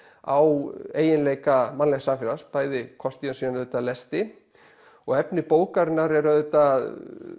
á eiginleika mannlegs samfélags bæði kosti en síðan auðvitað lesti og efni bókarinnar er auðvitað